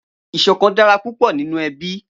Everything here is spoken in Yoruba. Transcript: Iṣòkán dàrá púpò ninú èbí